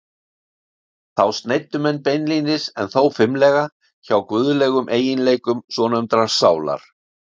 Þá sneiddu menn beinlínis- en þó fimlega- hjá guðlegum eiginleikum svonefndrar sálar.